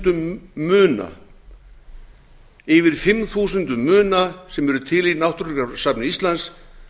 þúsundum muna yfir fimm þúsundum muna sem eru til í náttúrugripasafni íslands